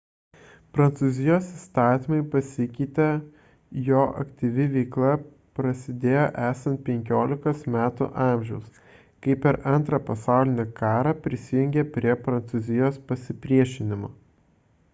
prancūzijos įstatymai pasikeitė jo aktyvi veikla prasidėjo esant 15 metų amžiaus kai per ii pasaulinį karą prisijungė prie prancūzijos pasipriešinimo